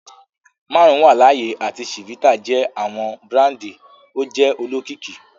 Marun wa laaye ati chivita jẹ awọn burandi oje olokiki.